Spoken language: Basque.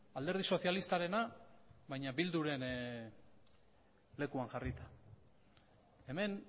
alderdi sozialistarena baina bilduren lekuan jarrita hemen